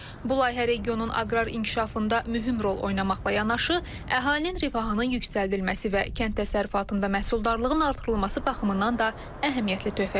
Bu layihə regionun aqrar inkişafında mühüm rol oynamaqla yanaşı, əhalinin rifahının yüksəldilməsi və kənd təsərrüfatında məhsuldarlığın artırılması baxımından da əhəmiyyətli töhfə verir.